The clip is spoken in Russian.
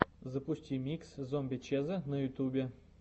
запусти микс зомби чеза на ютубе